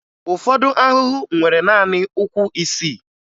Ụfọdụ ahụhụ nwere naanị ụkwụ isii